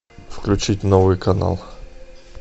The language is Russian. включить новый канал